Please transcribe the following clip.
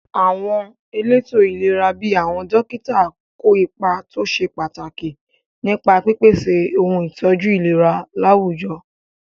Àwọn elétò ìlera bíi àwọn dókítà kó ipa tó ṣe pàtàkì nípa pípèsè ohun ìtọ́jú ìlera láwùjọ.